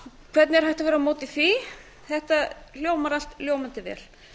hvernig er hægt að vera á móti því þetta hljómar allt ljómandi vel